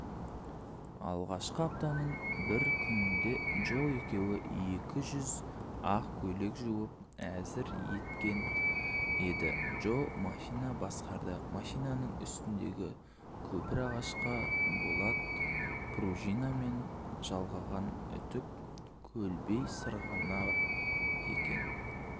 алғашқы аптаның бір күнінде джо екеуі екі жүз ақ көйлек жуып әзір еткен еді джо машина басқарды машинаның үстіндегі көпір ағашқа болат пружинамен жалғаған үтік көлбей сырғанап